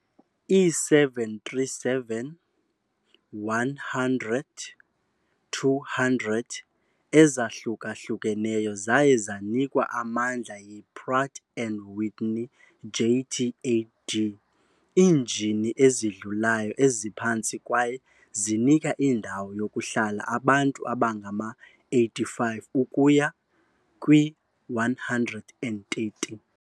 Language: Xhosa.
Ii-737-100, 200 ezahluka-hlukeneyo zaye zanikwa amandla yi- Pratt and Whitney JT8D ii-injini ezidlulayo eziphantsi kwaye zinika indawo yokuhlala abantu abangama-85 ukuya kwi-130.